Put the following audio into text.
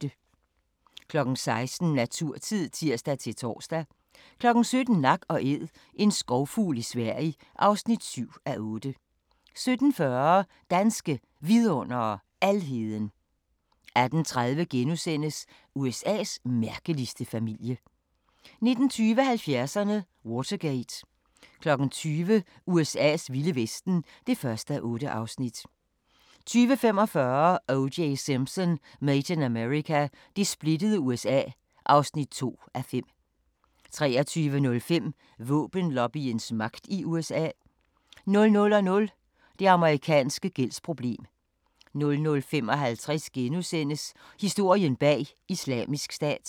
16:00: Naturtid (tir-tor) 17:00: Nak & æd - en skovfugl i Sverige (7:8) 17:40: Danske Vidundere: Alheden 18:30: USA's mærkeligste familie * 19:20: 70'erne: Watergate 20:00: USA's vilde vesten (1:8) 20:45: O.J. Simpson: Made in America – det splittede USA (2:5) 23:05: Våbenlobbyens magt i USA 00:00: Det amerikanske gældsproblem 00:55: Historien bag Islamisk Stat *